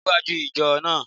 Níwájú ìjọ náà